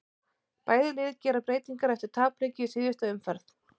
Bæði lið gera breytingar eftir tapleiki í síðustu umferð.